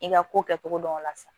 I ka ko kɛcogo dɔn o la sisan